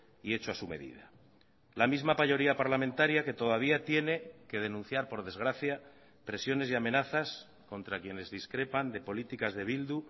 y hecho a su medida la misma mayoría parlamentaria que todavía tiene que denunciar por desgracia presiones y amenazas contra quienes discrepan de políticas de bildu